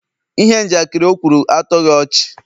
ihe njakịrị o kwuru, atoghị ọchị